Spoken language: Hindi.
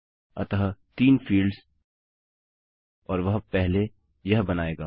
अतः 3 फील्ड्स और वह पहले यह बनायेगा